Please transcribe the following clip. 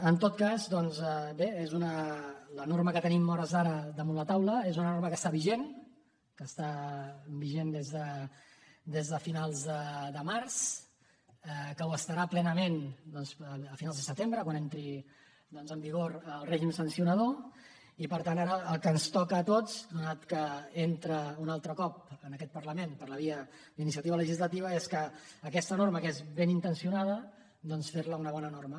en tot cas doncs bé la norma que tenim a hores d’ara damunt la taula és una norma que està vigent que està vigent des de finals de març que ho estarà plenament doncs a finals de setembre quan entri en vigor el règim sancionador i per tant ara el que ens toca a tots atès que entra un altre cop en aquest parlament per la via d’iniciativa legislativa és que aquesta norma que és ben intencionada doncs fer la una bona norma